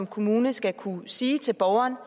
kommunen skal kunne sige til borgeren